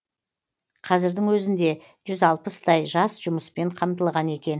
қазірдің өзінде жүз алпыстай жас жұмыспен қамтылған екен